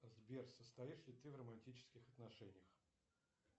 сбер состоишь ли ты в романтических отношениях